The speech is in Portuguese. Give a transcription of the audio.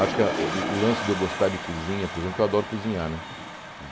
Acho que o lance de eu gostar de cozinha, por exemplo, que eu adoro cozinhar, né?